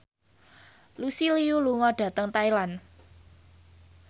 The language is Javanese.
Lucy Liu lunga dhateng Thailand